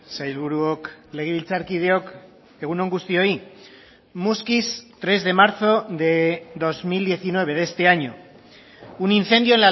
sailburuok legebiltzarkideok egun on guztioi muskiz tres de marzo de dos mil diecinueve de este año un incendio